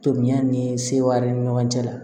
Tobiya ni sewari ni ɲɔgɔn cɛla la